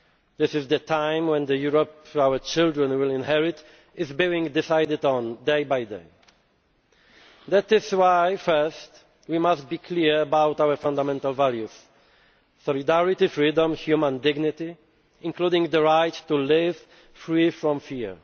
times. This is the time when the Europe our children will inherit is being decided on, day by day. That is why, firstly, we must be clear about our fundamental values solidarity, freedom and human dignity, including the right to live free from